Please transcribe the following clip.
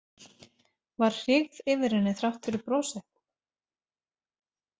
Var hryggð yfir henni þrátt fyrir brosið?